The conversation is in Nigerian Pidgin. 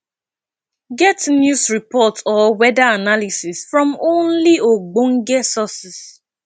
get news report or weather analysis from only ogbenge sources